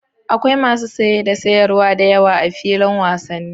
Akwai masu saye da sayarwa da yawa a filin wasannin